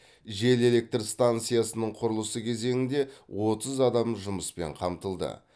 жел электр станциясының құрылысы кезеңінде отыз адам жұмыспен қамтылды